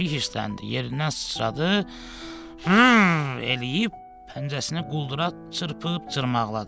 Pişik hirsləndi, yerindən sıçradı, hmm eləyib pəncəsinə quldura çırpıb cırmaqladı.